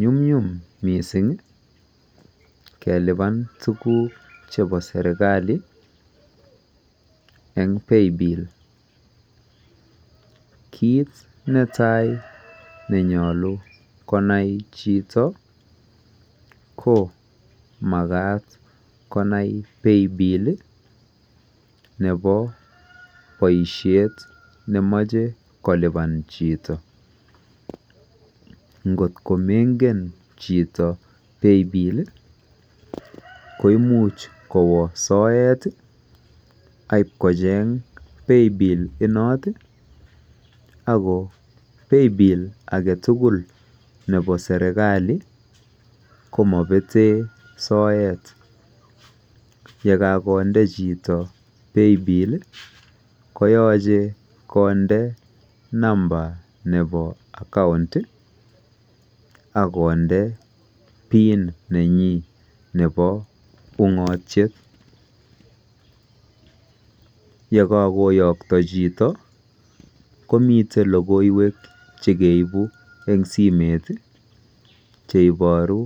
Nyunyum missing kelupan tuguuk che bo serikali en [paybil] kit ne tai ne nyaluu konai chitoo ko magaat konai [paybiill] ne bo boisiet ne machei kolupaan chitoo ingoot ko mangeen chitoo [paybil] ko imuuch kowaa soet ak IP kocheeng [paybiill] inoot ako [paybiill] ake tugul nebo serikali ko mabeteen soet ye kakondee chitoo [paybiill] komachei kondei numba nebo [account] ii akondee [pin] nenyiin nebo ungatiet ye kagoyaktaa chitoo komiteen logoiywek chekeibuu eng simeet ii cheibaruu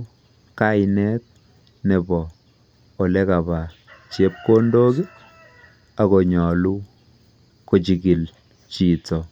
kainet akonyaluu ko chikil chitoo.